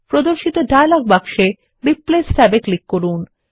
প্রদর্শিত ডায়লগ বাক্সে রিপ্লেস ট্যাবে ক্লিক করুন